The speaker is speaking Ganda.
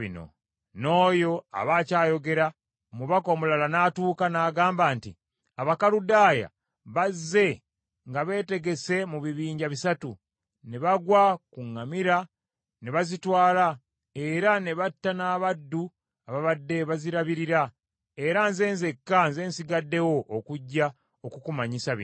N’oyo aba akyayogera, n’omubaka omulala n’atuuka, n’agamba nti, “Abakaludaaya bazze nga beetegese mu bibinja bisatu, ne bagwa ku ŋŋamira ne bazitwala era ne batta n’abaddu ababadde bazirabirira, era nze nzekka nze nsigaddewo okujja okukumanyisa bino.”